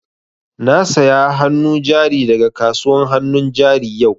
Na saya hannu jari da ga kasuwan hannun jari yau